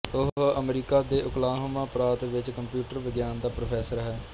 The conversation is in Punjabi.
ਉਹ ਅਮਰੀਕਾ ਦੇ ਓਕਲਾਹੋਮਾ ਪ੍ਰਾਂਤ ਵਿੱਚ ਕੰਪਿਊਟਰ ਵਿਗਿਆਨ ਦਾ ਪ੍ਰੋਫੈਸਰ ਹੈ